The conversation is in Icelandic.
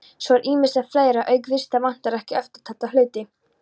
Svo er ýmislegt fleira: Auk vista vantar okkur eftirtalda hluti